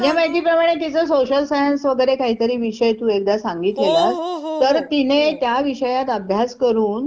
काय